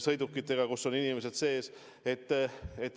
sõidukitega, kus on inimesed sees.